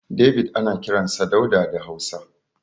David ana kiransa Dauda da Hausa.